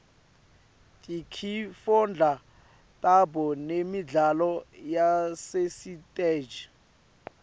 tinkifondla tabo nemidlalo yasesitej